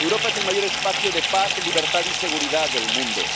Europa es el mayor espacio de paz, libertad y seguridad del mundo.